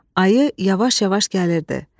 Ayı yavaş-yavaş gəlirdi.